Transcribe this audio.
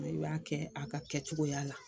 N'i b'a kɛ a ka kɛcogoya la.